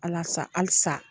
alasa halisa